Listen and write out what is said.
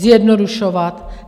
Zjednodušovat.